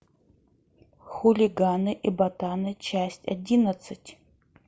хулиганы и ботаны часть одиннадцать